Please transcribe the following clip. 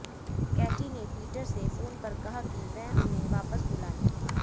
Katie ने Peter से phone पर कहा कि वह उन्हें वापस बुला लें